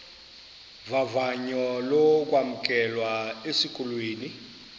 vavanyo lokwamkelwa esikolweni